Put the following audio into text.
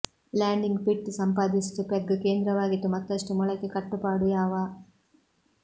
landing pit ಸಂಪಾದಿಸಿತು peg ಕೇಂದ್ರವಾಗಿತ್ತು ಮತ್ತಷ್ಟು ಮೊಳಕೆ ಕಟ್ಟುಪಾಡು ಯಾವ